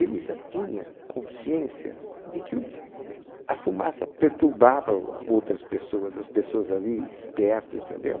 Ele já tinha consciência de que o a fumaça perturbava a o a outras pessoas, as pessoas ali perto, entendeu?